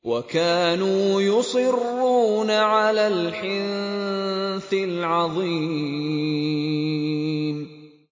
وَكَانُوا يُصِرُّونَ عَلَى الْحِنثِ الْعَظِيمِ